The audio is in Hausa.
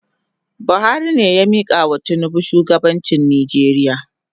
Buhari ne ya mikawa tinubu shugabanchi Nijeria